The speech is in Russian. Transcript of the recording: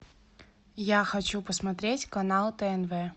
я хочу посмотреть канал тнв